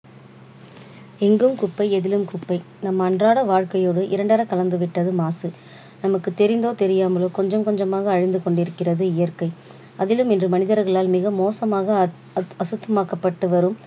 எங்கும் குப்பை எதிலும் குப்பை நம் அன்றாட வாழ்க்கையவே இரண்டற கலந்து விட்டது மாசு. நமக்கு தெரிந்தோ தெரியாமலோ கொஞ்சம் கொஞ்சமாக அழிந்து கொண்டிருக்கிறது இயற்கை. அதிலும் இன்று மனிதர்களால் மிக மோசமாக அசு~அசுத்தமாக்கப்பட்டு வரும்